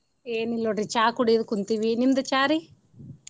ಏನಿಲ್ಲ ನೋಡ್ರಿ ಚಾ ಕುಡಿದ್ ಕುಂತೀವಿ ನಿಮ್ದ ಚಾ ರಿ?